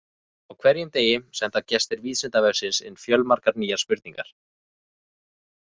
Á hverjum degi senda gestir Vísindavefsins inn fjölmargar nýjar spurningar.